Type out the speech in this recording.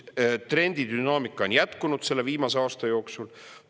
Trendi dünaamika on jätkunud selle viimase aasta jooksul.